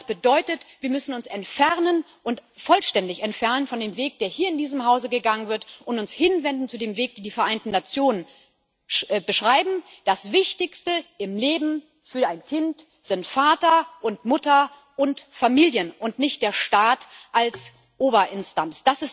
Und das bedeutet, dass wir uns vollständig entfernen müssen von dem Weg, der hier in diesem Hause gegangen wird, und uns hinwenden zu dem Weg, den die Vereinten Nationen beschreiben Das Wichtigste im Leben für ein Kind sind Vater und Mutter und Familien und nicht der Staat als Oberinstanz